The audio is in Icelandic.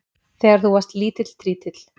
Þegar þú varst lítill trítill.